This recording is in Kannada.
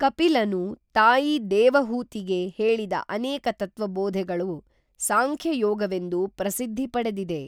ಕಪಿಲನು ತಾಯಿ ದೇವಹೂತಿಗೆ ಹೇಳಿದ ಅನೇಕ ತತ್ವಬೋಧೆಗಳು ಸಾಂಖ್ಯಯೋಗವೆಂದು ಪ್ರಸಿದ್ಧಿ ಪಡೆದಿದೆ